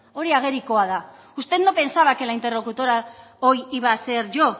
hori agerikoa da usted no pensaba que la interlocutora hoy iba a ser yo